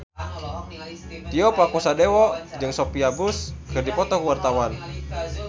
Tio Pakusadewo jeung Sophia Bush keur dipoto ku wartawan